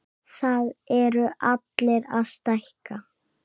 Það eru allir að stækka.